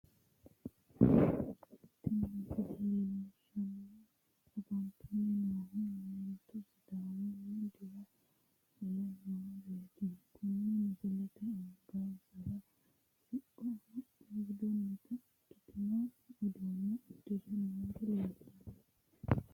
Tini misile leellishshanni afantanni noohu meentu sidaamunnihu dira fule nooreeti kuni meenti angansara siqqo amaxxe budunnita ikkitinota uddano uddire noori leellanno